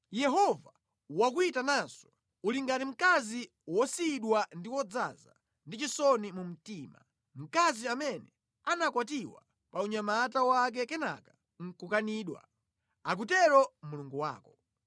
Yehova wakuyitananso, uli ngati mkazi wosiyidwa ndi wodzaza ndi chisoni mu mtima, mkazi amene anakwatiwa pa unyamata wake kenaka nʼkukanidwa,” akutero Mulungu wako.